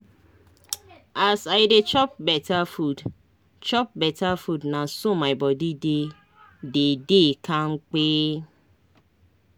as i dey chop beta food chop beta food na so my body dey dey kampe